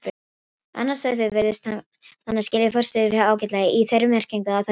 Annað sauðfé virðist þannig skilja forystuféð ágætlega, í þeirri merkingu að það fylgir því.